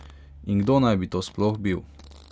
In kdo naj bi to sploh bil?